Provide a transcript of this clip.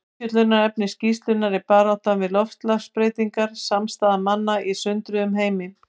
Umfjöllunarefni skýrslunnar er Baráttan við loftslagsbreytingar: Samstaða manna í sundruðum heimi.